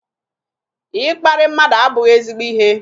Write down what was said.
Ịkparị mmadụ abụghị ezigbo ihe